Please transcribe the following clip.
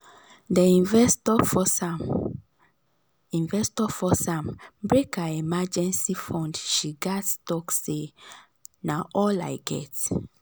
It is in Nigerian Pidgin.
d investor force am investor force am break her emergency fund she gats talk say "na all i get".